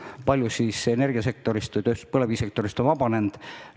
Kui palju siis energiasektorist ja põlevkivitööstussektorist on vabanenud?